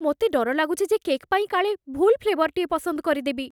ମୋତେ ଡର ଲାଗୁଛି ଯେ କେକ୍ ପାଇଁ କାଳେ ଭୁଲ୍ ଫ୍ଲେଭର୍‌ଟିଏ ପସନ୍ଦ କରିଦେବି!